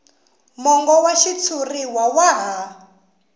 mongo wa xitshuriwa wa ha